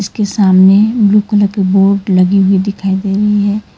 के सामने blue colour के बोर्ड लगी हुई दिखाई दे रही है।